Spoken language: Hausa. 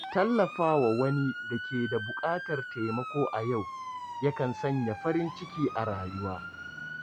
Tallafawa wani da ke da buƙatar taimako a yau, ya kan sanya farin ciki a rayuwa.